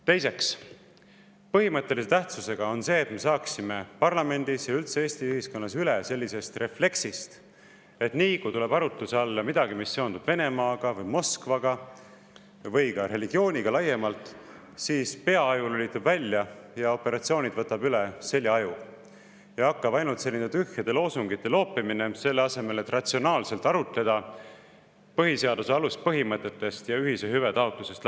Teiseks, põhimõttelise tähtsusega on see, et me saaksime parlamendis ja üldse Eesti ühiskonnas üle sellisest refleksist, et nii kui tuleb arutluse alla midagi, mis seondub Venemaaga või Moskvaga või laiemalt religiooniga, siis peaaju lülitub välja ja operatsioonid võtab üle seljaaju ja hakkab tühjade loosungite loopimine, selle asemel et ratsionaalselt arutleda, lähtudes põhiseaduse aluspõhimõtetest ja ühise hüve taotlusest.